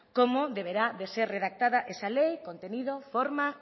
cómo deberá ser redactada esa ley contenido forma